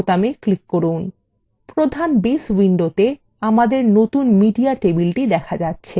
প্রধান base window আমাদের নতুন media টেবিলটি দেখা যাচ্ছে